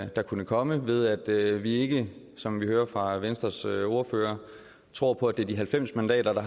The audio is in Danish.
der kunne komme ved at vi ikke som vi hører fra venstres ordfører tror på at det er de halvfems mandater der